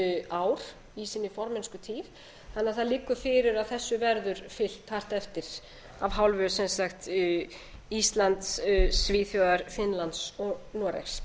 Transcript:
ár í sinni formennskutíð þannig að það liggur fyrir að þessu verður fylgt hart eftir af hálfu íslands svíþjóðar finnlands og noregs